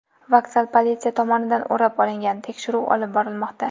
Vokzal politsiya tomonidan o‘rab olingan, tekshiruv olib borilmoqda.